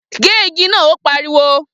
Gé igi náà! Ó pariwo.